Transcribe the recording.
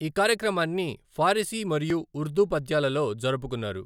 ఈ కార్యక్రమాన్ని ఫారిసీ మరియు ఉర్దూ పద్యాలలో జరుపుకున్నారు.